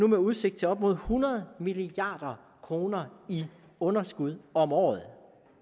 en udsigt til op imod hundrede milliard kroner i underskud om året